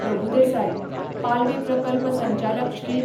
प्रभूदेसाय, पालवी प्रकल्प संचालक श्री.